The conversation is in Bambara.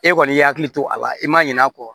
E kɔni y'i hakili to a la i ma ɲin'a kɔ